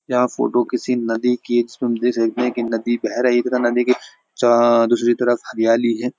यह फोटो किसी नदी कि है जिसमें हम देख सकते हैं कि नदी बह रही है तथा नदी के च-दूसरी तरफ हरियाली है।